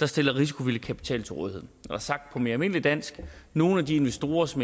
der stiller risikovillig kapital til rådighed og sagt på mere almindeligt dansk hvis nogle af de investorer som